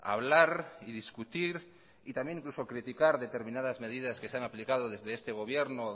hablar y discutir y también incluso criticar determinadas medidas que se han aplicado desde este gobierno